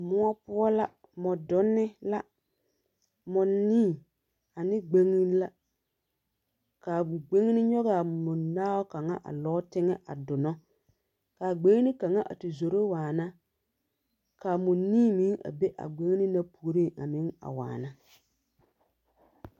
Mõͻ poͻ la, mͻdonne la. Mͻnii ane gbeŋine la. Ka a gbeŋine nyͻgaa mͻnaao a lͻͻ teŋԑ a donͻ. Ka gbeŋini kaŋa a te zoro waana. Ka a mͻnii meŋ be a gbeŋine na puoriŋ meŋ a waana